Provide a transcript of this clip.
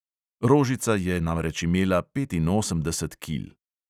Rožica je namreč imela petinosemdeset kil.